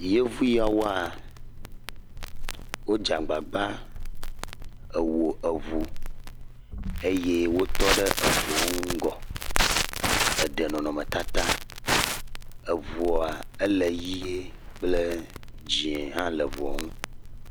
Yevu ya woa, wodze agbagba wɔ ŋu eye wotɔ ɖe ŋua ŋgɔ eɖe nɔnɔmetata. Ŋua le ʋie kple dzɛ̃ hã le ŋua ŋu.